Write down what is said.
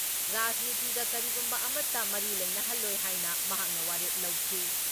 ꯔꯥꯖꯅꯤꯇꯤꯒ ꯀꯔꯤꯒꯨꯝꯕ ꯑꯃꯠꯇ ꯃꯔꯤ ꯂꯩꯅꯍꯜꯂꯣꯏ ꯍꯥꯏꯅ ꯃꯍꯥꯛꯅ ꯋꯥꯔꯦꯞ ꯂꯧꯈꯤ ꯫